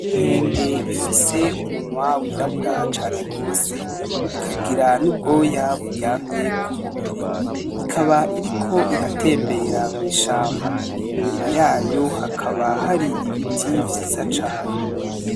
Inkende ifise umunwa w'irabura cane gose ikagira n'ubwoya buryamye ku mubiri, ikaba iriko iratembera mw'ishamba inyuma yayo hakaba hari ibiti vyiza cane.